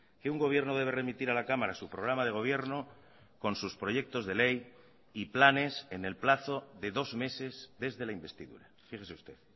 que un gobierno debe remitir a la cámara su programa de gobierno con sus proyectos de ley y planes en el plazo de dos meses desde la investidura fíjese usted